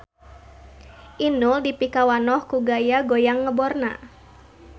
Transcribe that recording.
Inul dipikawanoh ku gaya goyang ngeborna